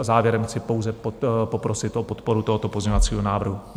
A závěrem chci pouze poprosit o podporu tohoto pozměňovacího návrhu.